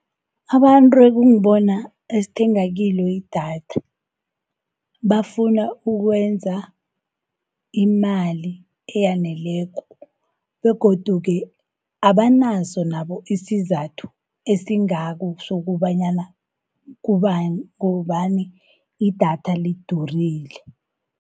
Abantu ekungibona esithenga kilo idatha, bafuna ukwenza imali eyaneleko, begodu-ke abanaso nabo isizathu esingako sokobanyana kubani idatha lidurile.